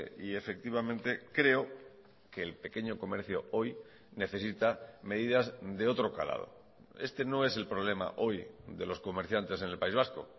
y efectivamente creo que el pequeño comercio hoy necesita medidas de otro calado este no es el problema hoy de los comerciantes en el país vasco